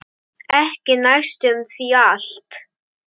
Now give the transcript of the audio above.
Ekki næstum því allt.